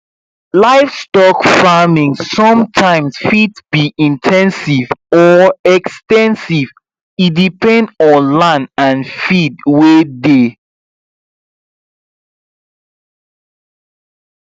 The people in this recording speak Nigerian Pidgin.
livestock farming sometimes fit be in ten sive or ex ten sive e depend on land and feed wey dey